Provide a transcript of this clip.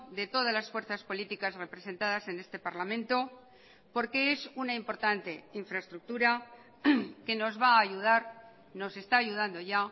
de todas las fuerzas políticas representadas en este parlamento porque es una importante infraestructura que nos va a ayudar nos está ayudando ya